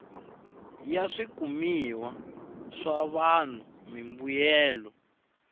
ya swikumiwa swa vanhu mimbuyelo